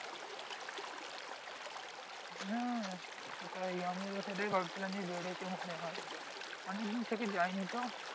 হ্যাঁ সেটাই আমি ও তো সেটাই ভাবছিলাম যে বেড়েছে মনে হয় অনেক দিন থেকে যাই নি তো